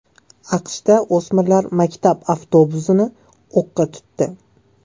AQShda o‘smirlar maktab avtobusini o‘qqa tutdi.